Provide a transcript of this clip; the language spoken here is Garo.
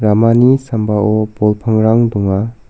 ramani sambao bol pangrang donga.